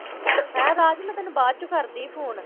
ਹੈਂ ਰਾਜ ਮੈਂ ਤੈਨੂੰ ਬਾਅਦ ਚੋਂ ਕਰਦੀ ਫ਼ੋਨ।